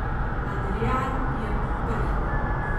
Adrijan je prhnil.